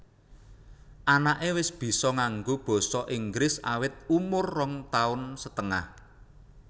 Anaké wis bisa nganggo basa inggris awit umur rong taun setengah